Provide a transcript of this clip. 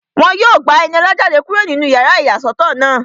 Wọ́n yóò gba Ẹniọlá jáde kúrò nínú yàrá ìyàsọ́tọ̀ náà